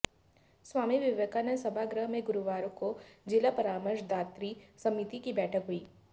स्वामी विवेकानंद सभागृह में गुरूवार को जिला परामर्श दात्री समिति की बैठक हुई